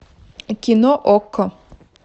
кино окко